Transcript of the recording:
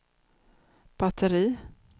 batteri